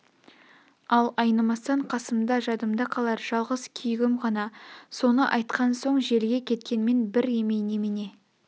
ал айнымастан қасымда жадымда қалар жалғыз күйігім ғана соны айтқан соң желге кеткенмен бір емей немене